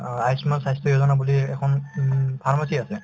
অ, আয়ুষ্মান স্বাস্থ্য য়োজনা বুলি এখন উম pharmacy আছে